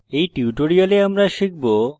in tutorial আমরা শিখব